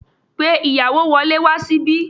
Pe ìyàwó wọlé wá síbí